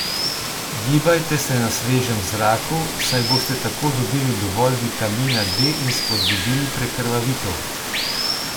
Gibajte se na svežem zraku, saj boste tako dobili dovolj vitamina D in spodbudili prekrvavitev.